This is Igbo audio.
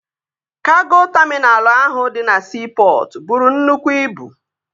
Kago taminalụ ahụ dị na siipọtụ bụrụ nnukwu ibu